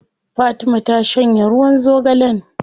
Fatima ta shanye ruwan zogalen.